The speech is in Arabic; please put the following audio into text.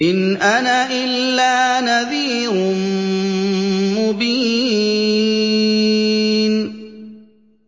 إِنْ أَنَا إِلَّا نَذِيرٌ مُّبِينٌ